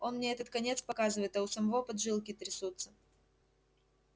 он мне этот конец показывает а у самого поджилки трясутся